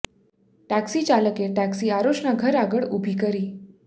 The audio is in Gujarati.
ટેક્ષી ચાલકે ટેક્ષી આરુષ ના ઘર આગળ ઉભી કરી